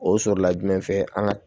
O sɔrɔla jumɛn fɛ an ga